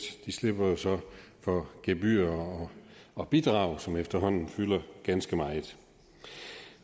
de slipper så for gebyrer og bidrag som efterhånden fylder ganske meget